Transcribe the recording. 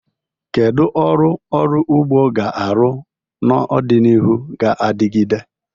Kedu ọrụ ọrụ ugbo ga-arụ n'ọdịnihu ga-adigide?